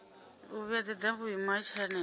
u vhuedzedza vhuimo ha tshanele